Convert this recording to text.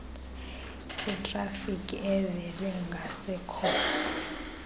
itrafiki evele ngasekhohlo